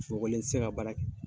Sogolen ti se ka baara kɛ.